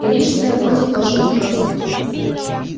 и рижская вроде тоже не против